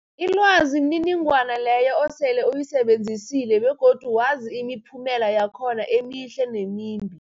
Ilwazi mniningwana leyo osele uyisebenzisile begodu wazi imiphumela yakhona emihle nemimbi.